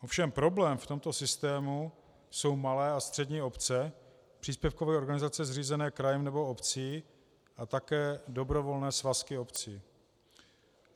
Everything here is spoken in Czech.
Ovšem problém v tomto systému jsou malé a střední obce, příspěvkové organizace zřízené krajem nebo obcí a také dobrovolné svazky obcí.